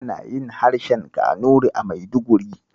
Ana yin harshen Kanuri a Maiduguri.